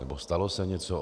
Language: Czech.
Nebo stalo se něco?